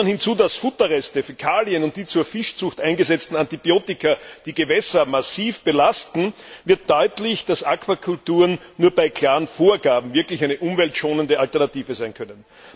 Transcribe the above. Nimmt man hinzu, dass Futterreste, Fäkalien und die zur Fischzucht eingesetzten Antibiotika die Gewässer massiv belasten, wird deutlich, dass Aquakulturen nur bei klaren Vorgaben wirklich eine umweltschonende Alternative sein können.